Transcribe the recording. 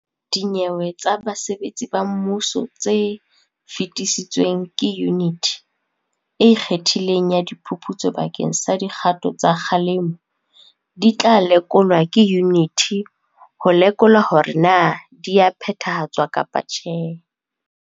Dinyewe tsa basebetsi ba mmuso tse fetisitsweng ke Yuniti e Ikgethileng ya Di phuputso bakeng sa dikgato tsa kgalemo di tla lekolwa ke yuniti ho lekola hore na di a phethahatswa kapa tjhe.